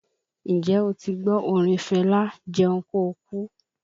N jẹ́ o ti gbọ́ orin Fẹlá 'Jẹun kóokú?